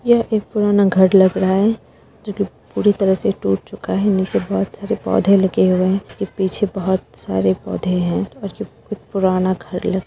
यह एक पुराना घर लग रहा है जो पूरी तरहा से टूट चुका है नीचे बहुत सारे पौधे लगे हुऐ हैं उसके पीछे बहुत पौधे हैं और यह पुराना घर लग --